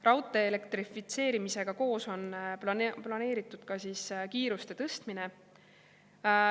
Raudtee elektrifitseerimisega koos on planeeritud ka kiiruste tõstmine.